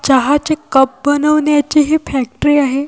चहाचे कप बनवण्याचे हे फॅक्टरी आहे.